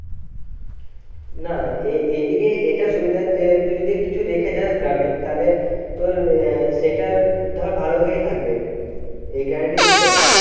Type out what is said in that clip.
না এ এদিকে এটা সুবিধা যে তুই যদি কিছু রেখে যাস গ্রামে তাহলে তোর আহ সেটা ধর ভালো ভাবেই থাকবে এই guarantee দিতে পারি।